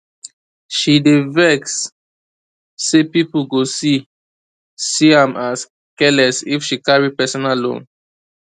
she dey vex say people go see see am as careless if she carry personal loan